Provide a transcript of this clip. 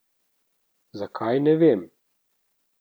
Zakaj, ne vem.